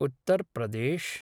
Uttar Pradesh